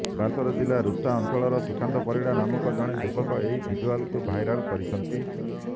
ବାଲେଶ୍ବର ଜିଲ୍ଲା ରୁପ୍ସା ଅଂଚଳର ସୁକାନ୍ତ ପରିଡା ନାମକ ଜଣେ ଯୁବକ ଏହି ଭିଜୁଲଆକୁ ଭାଇରାଲ କରିଛନ୍ତି